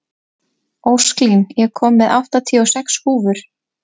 Ósklín, ég kom með áttatíu og sex húfur!